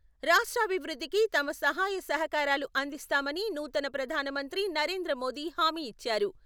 రాష్ట్రాభివృద్ధికి తమ సహాయ సహకారాలు అందిస్తామని నూతన ప్రధాన మంత్రి నరేంద్ర మోడీ హామీ ఇచ్చారు.